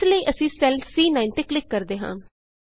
ਇਸ ਲਈ ਅਸੀਂ ਸੈੱਲ ਸੀ9 ਤੇ ਕਲਿਕ ਕਰਦੇ ਹਾਂ